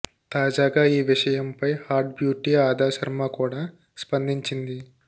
తాజాగా ఈ విషయంపై హాట్ బ్యూటీ అదా శర్మ కూడా స్పందించింది